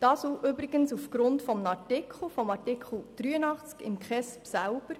Dies geschah aufgrund von Artikel 83 des KESG selber.